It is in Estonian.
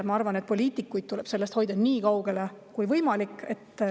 Ma arvan, et poliitikuid tuleb sellest hoida nii kaugel kui võimalik.